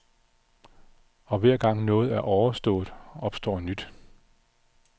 Og hver gang noget er overstået, opstår nyt.